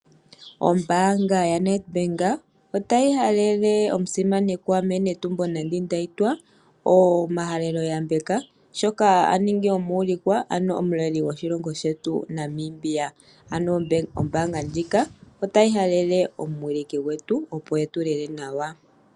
Ombaanga yaNedbank otayi halele omusimanekwa mee Netumbo Nandi-Ndaitwah omahalelo yambeko shoka a ningi omuulikwa, ano omuleli goshilongo shetu Namibia. Ombaanga ndjika otayi halele omuwiliki gwetu, opo e tu lele nawa.